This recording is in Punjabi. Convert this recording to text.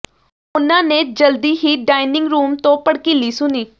ਉਨ੍ਹਾਂ ਨੇ ਜਲਦੀ ਹੀ ਡਾਇਨਿੰਗ ਰੂਮ ਤੋਂ ਭੜਕੀਲੀ ਸੁਣੀ